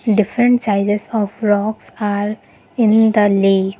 different sizes of rocks are in the lake.